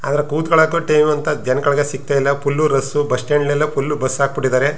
ಆದ್ರ ಕೂತ್ಕೊಳಕ್ಕೂ ಅಂತ ಟೇಬಲ್ ಜನಗಳಿಗೆ ಸಿಕ್ತ ಇಲ್ಲ ಫುಲ್ ರಶ್ ಬಸ್ಸ್ಟ್ಯಾಂಡ್ ಲ್ಲೆಲ್ಲ ಫುಲ್ ಬಸ್ ಹಾಕ್ ಬಿಟ್ಟಿದ್ದಾರೆ.